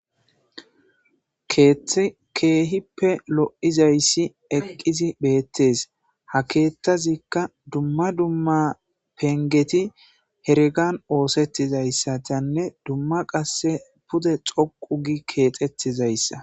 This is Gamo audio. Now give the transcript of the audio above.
keehippe lo7izayssi eqqisi beettees ha keettazikka dumma dumma pengeti hergan oosettizayssatanne dumma qasse pude xoqu gi keexettizayssa